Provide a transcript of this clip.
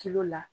la